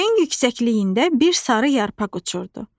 Göyün yüksəkliyində bir sarı yarpaq uçurdu.